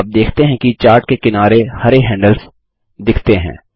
आप देखते हैं कि चार्ट के किनारे हरे हैंडल्स दिखते हैं